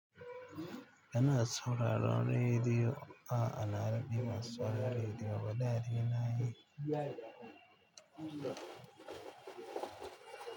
Sauraron rediyo, aa na daɗe ban saurari rediyo ba da dai nayi.